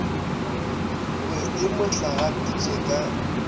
be e mo hlagaditše ka